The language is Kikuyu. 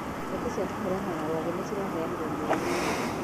Neti cia kũhũrana na rwagĩ nĩciraheanirwo mĩeri ĩĩrĩ.